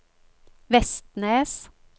Vestnes